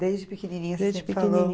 Desde pequenininha você sempre falou.